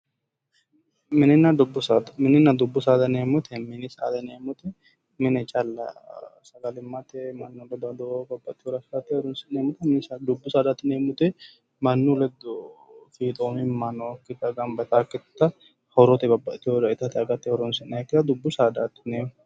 Mininna dubbu saada, mininna dubbu saada yinneemmo woyte mini saada mine calla sagalimmate mannu buuroho ikko babbaxinore horonsi'neemmote, dubbu saada yinneemmoti mannu ledo fiixoomimma nookkitta gamba yittanokkitta horote babbaxino ittate agate horonsi'neemmokkitta dubbu saadati yinneemmo.